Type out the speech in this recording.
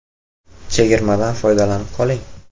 Chegirmadan foydalanib qoling!